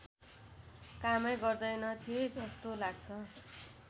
कामै गर्दैनथे जस्तो लाग्छ